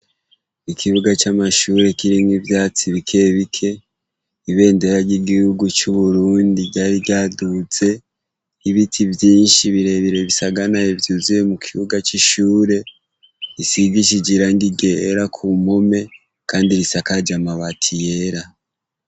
Ikibuga c'amashure kirimwo ivyatsi bikebike ibendera ry'igihugu c'uburundi ryari ryaduze ibiti vyinshi birebire bisaganaye vyuzuye mu kibuga c'ishure risigishije irangi ryera ku mpome, kandi risakaje amabati yera.